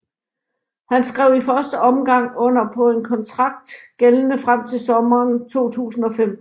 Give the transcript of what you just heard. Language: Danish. Han skrev i første omgang under på en kontrakt gældende frem til sommeren 2015